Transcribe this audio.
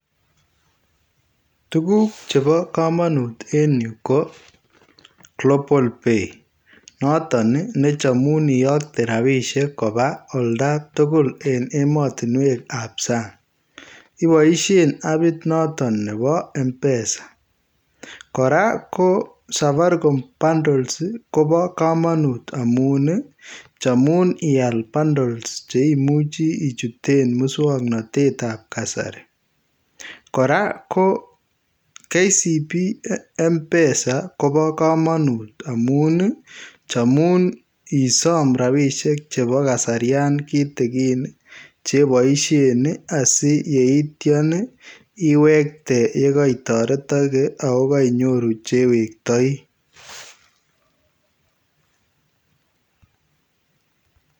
Tuguuk chebo kamanut en Yuu ko [Global pay] notoon ii nechamuun iyaktei rapisheek kobaa olda tugul en ematinweek ab saang ibaisheen appit notoon nebo [mpesa] kora [safaricom bundles] Kobo kamanut amuun ii chamuun iyaal [bundles] cheimuchii ichuteen musangnatet ab kasari kora ko [KCB mpesa] Kobo kamanut amuun ii chamuun isaam rapisheek chebo kasarian kitigiin chebaisheen ii asi yeityaan iwektei yekai taretakei ye kainyoruu che wektaei .